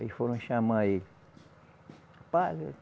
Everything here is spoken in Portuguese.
Aí foram chamar ele.